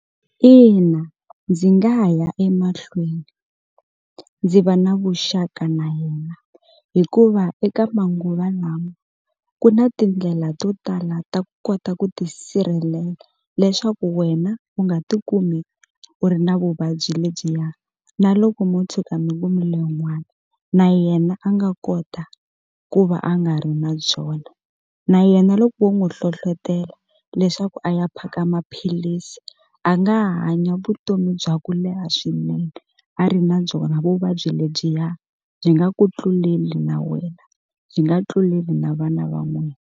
Ina ndzi nga ha ya emahlweni ndzi va na vuxaka na yena hikuva eka manguva lama ku na tindlela to tala ta ku kota ku tisirhelela leswaku wena u nga ti kumi u ri na vuvabyi lebyiya na loko mo tshuka mi kumile n'wana na yena a nga kota ku va a nga ri na byona na yena loko wo n'wu hlohlotelo leswaku a ya phaka maphilisi a nga hanya vutomi bya ku leha swinene a ri na byona vuvabyi lebyiya byi nga ku tluleli na wena byi nga tluleli na vana va n'wina.